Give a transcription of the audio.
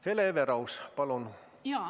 Hele Everaus, palun!